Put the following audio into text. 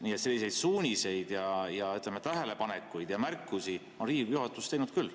Nii et selliseid suuniseid, tähelepanekuid ja märkusi on Riigikogu juhatus teinud küll.